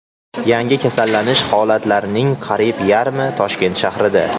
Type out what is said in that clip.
Yangi kasallanish holatlarning qariyb yarmi Toshkent shahrida.